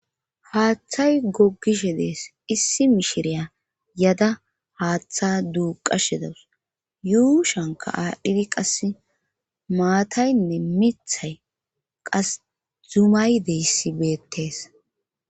Haaththay gogishe dees issi mishiriya yada haaththa duuqashe dawus yuu shanka aadhdhidi qas maataynne mithay qas zumay deyssi beettes.